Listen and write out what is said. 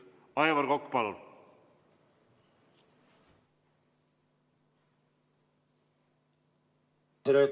Aivar Kokk, palun!